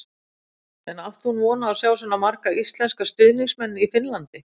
En átti hún von á að sjá svona marga íslenska stuðningsmenn í Finnlandi?